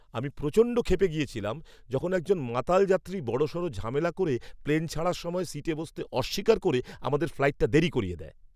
আমি প্রচণ্ড খেপে গিয়েছিলাম যখন একজন মাতাল যাত্রী বড়সড় ঝামেলা করে প্লেন ছাড়ার সময় সিটে বসতে অস্বীকার করে আমাদের ফ্লাইটটা দেরি করিয়ে দেয়।